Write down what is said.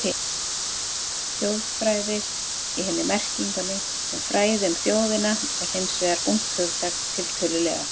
Þjóðfræði í hinni merkingunni, sem fræði um þjóðina, er hins vegar ungt hugtak, tiltölulega.